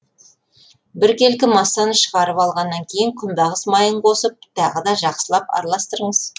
біркелкі массаны шығарып алғаннан кейін күнбағыс майын қосып тағы да жақсылап араластырыңыз